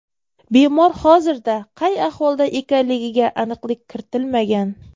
Bemor hozirda qay ahvolda ekanligiga aniqlik kiritilmagan.